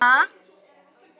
Jæja, kona.